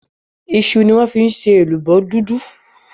iṣu ni wón fí ṣe èlùbọ́ dúdú.